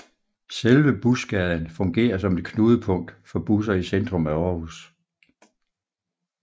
Selve Busgaden fungerer som et knudepunkt for busser i centrum af Aarhus